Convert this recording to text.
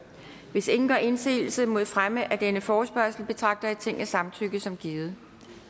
hvis ingen gør indsigelse mod fremme af denne forespørgsel betragter jeg tingets samtykke som givet